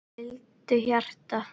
Hvíldu hjarta.